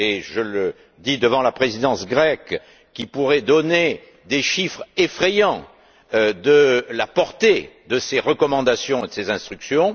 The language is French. Je le dis devant la présidence grecque, qui pourrait donner des chiffres effrayants de la portée de ces recommandations et de ces instructions.